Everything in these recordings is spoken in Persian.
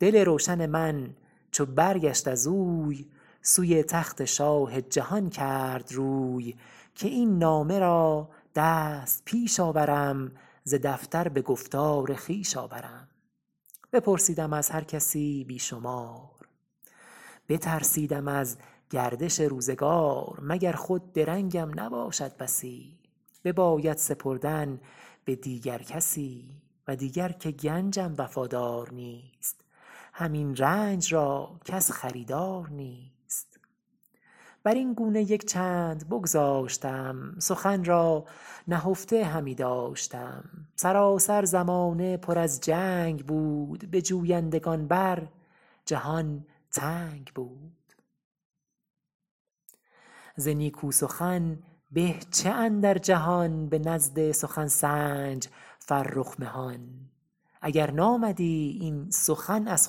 دل روشن من چو برگشت از اوی سوی تخت شاه جهان کرد روی که این نامه را دست پیش آورم ز دفتر به گفتار خویش آورم بپرسیدم از هر کسی بی شمار بترسیدم از گردش روزگار مگر خود درنگم نباشد بسی بباید سپردن به دیگر کسی و دیگر که گنجم وفادار نیست همین رنج را کس خریدار نیست بر این گونه یک چند بگذاشتم سخن را نهفته همی داشتم سراسر زمانه پر از جنگ بود به جویندگان بر جهان تنگ بود ز نیکو سخن به چه اندر جهان به نزد سخن سنج فرخ مهان اگر نامدی این سخن از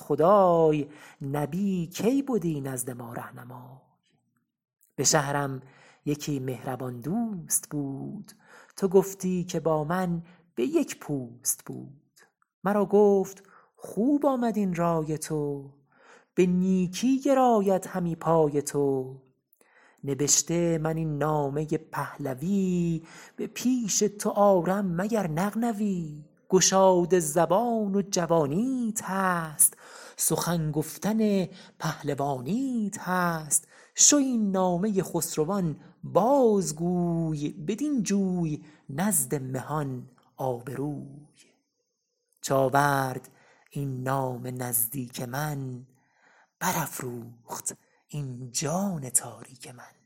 خدای نبی کی بدی نزد ما رهنمای به شهرم یکی مهربان دوست بود تو گفتی که با من به یک پوست بود مرا گفت خوب آمد این رای تو به نیکی گراید همی پای تو نبشته من این نامه پهلوی به پیش تو آرم مگر نغنوی گشاده زبان و جوانیت هست سخن گفتن پهلوانیت هست شو این نامه خسروان باز گوی بدین جوی نزد مهان آبروی چو آورد این نامه نزدیک من بر افروخت این جان تاریک من